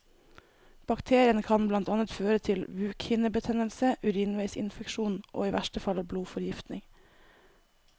Bakterien kan blant annet føre til bukhinnebetennelse, urinveisinfeksjon og i verste fall blodforgiftning.